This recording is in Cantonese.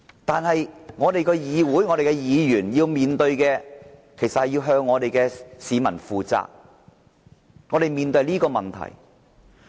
但是，我們的議員要向市民負責，我們面對的是這個問題。